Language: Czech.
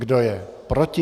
Kdo je proti?